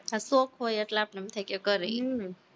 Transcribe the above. હા, શોખ હોય એટલે આપણને એમ થાય કે કરી